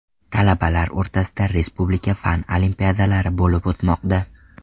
Talabalar o‘rtasida respublika fan olimpiadalari bo‘lib o‘tmoqda.